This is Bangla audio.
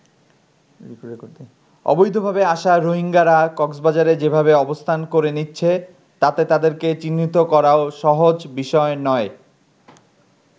অবৈধভাবে আসা রোহিঙ্গারা কক্সবাজারে যেভাবে অবস্থান করে নিচ্ছে, তাতে তাদেরকে চিহ্নিত করাও সহজ বিষয় নয়।